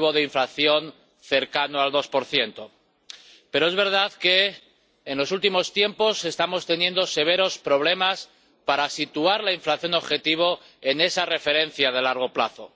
una inflación cercana al 2 pero es verdad que, en los últimos tiempos, estamos teniendo severos problemas para situar la inflación objetivo en esa referencia de largo plazo.